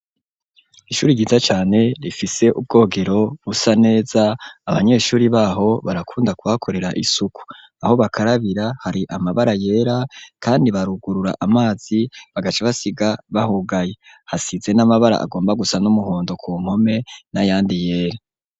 Ishuri ryiza cane rifise ubwogero busa neza abanyeshuri baho barakunda ku hakorera isuku aho bakarabira hari amabara yera kandi barugurura amazi bagace basiga bahugaye hasize n'amabara agomba gusa n'umuhondo ku npome n'ayandi yera.